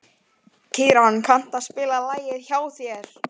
Heldurðu að þú sért laus undan allri ábyrgð?